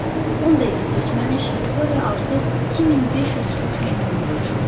10 dəqiqə keçməmiş Viktoriya artıq 2500 fut hündürlükdə uçurdu.